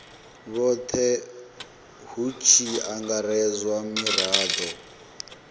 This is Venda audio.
vhothe hu tshi angaredzwa mirado